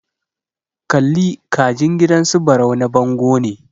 Kalli ka jin gidan su Barau na bango ne.